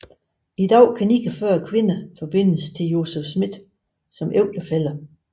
I dag kan 49 kvinder forbindes til Joseph Smith som ægtefæller